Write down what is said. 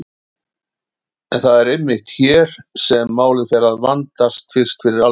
En það er einmitt hér sem málið fer fyrst að vandast fyrir alvöru.